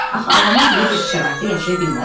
Axı adamlar belə bir şəraitdə yaşaya bilməzdilər.